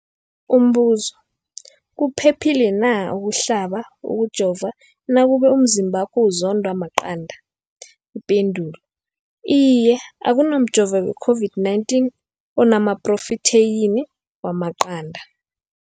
Umbuzo, kuphephile na ukuhlaba, ukujova nakube umzimbakho uzondwa maqanda. Ipendulo, Iye. Akuna mjovo we-COVID-19 ona maphrotheyini wamaqanda.